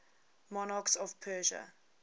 monarchs of persia